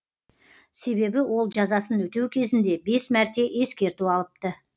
себебі ол жазасын өтеу кезінде бес мәрте ескерту алыпты